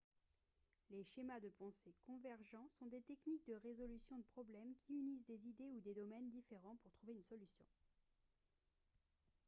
les schémas de pensée convergents sont des techniques de résolution de problèmes qui unissent des idées ou des domaines différents pour trouver une solution